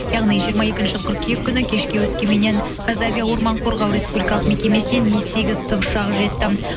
яғни жиырма екінші қыркүйек күні кешке өскеменнен қазавиа орман қорғау республикалық мекемесінен ми сегіз тікұшағы жетті